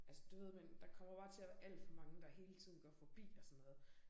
Altså du ved men der kommer bare til at være alt for mange der hele tiden går forbi og sådan noget